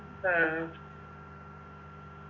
ആ